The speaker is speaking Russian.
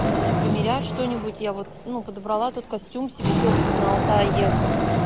примерять что-нибудь я вот ну подобрала тут костюм себе тёплый на алтай ехать